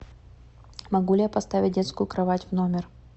могу ли я поставить детскую кровать в номер